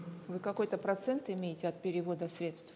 вы какой то процент имеете от перевода средств